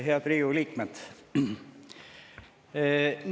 Head Riigikogu liikmed!